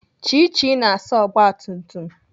Chichi na-asa ogbatumtum